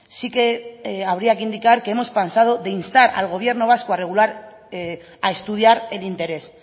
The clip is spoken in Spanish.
sí que habría que indicar que hemos pasado de instar al gobierno vasco a regular a estudiar el interés